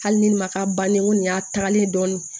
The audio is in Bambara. Hali ni ne ma k'a bannen n ko nin y'a tagalen ye dɔɔnin